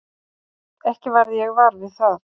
Ekki varð ég var við það.